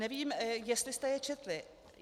Nevím, jestli jste je četli.